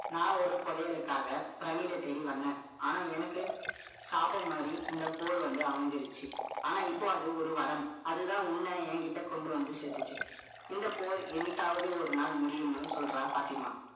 நான் ஒரு புதையலுக்காக, pyramid அ தேடி வந்தேன். ஆனா, எனக்கு சாபம் மாறி, இந்த போர் வந்து அமைஞ்சிருச்சு. ஆனா, இப்போ அது ஒரு வரம். அதுதான் உன்னை, என்கிட்ட கொண்டு வந்து சேர்த்துச்சு. இந்த போர், என்னைக்காவது ஒரு நாள் முடியும்ன்னு சொல்றா, பாத்திமா.